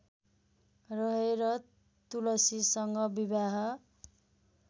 रहेर तुलसीसँग विवाह